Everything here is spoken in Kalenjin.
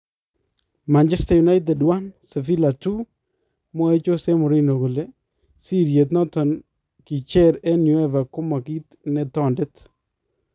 Man Utd 1-2 Sevilla : Mwae Jose Mourinho kole sirityeet noton kicheer en UEFA koma kiit ne tondet